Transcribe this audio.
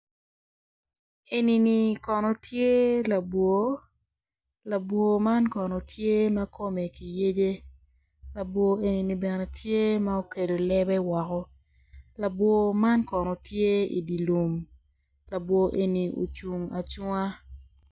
Eni kono tye labwo labwo man kono tye ma kone yeyc labworeni kono tye ka ocwalo lebe woko labwor man kono tye i dye lum